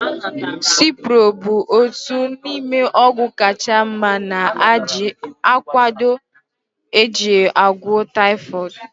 Ciproflaxin (Cipro) bụ otu n'ime ọgwụ kacha mma ana akwado eji agwọ taifọdụ